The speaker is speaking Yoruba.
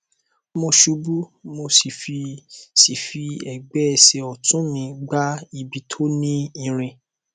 mo ṣubú mo sì fi sì fi ẹgbẹ ẹsẹ ọtún mi gbá ibi tó ní irin